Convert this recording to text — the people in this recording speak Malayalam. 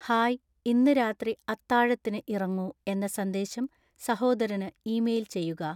ഹായ് ഇന്ന് രാത്രി അത്താഴത്തിന് ഇറങ്ങൂ എന്ന സന്ദേശം സഹോദരന് ഇമെയിൽ ചെയ്യുക